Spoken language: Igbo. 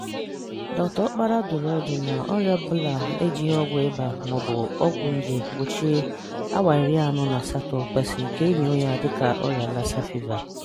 Dr Okpala dụrụ ọdụ na ọrịa ọbụla ejighi ọgwụ ịba maọbụ ọgwụ nje gbochie awa iri anọ na asatọ kwesiri ka e enyoo ya dịka ọrịa Lassa fiva.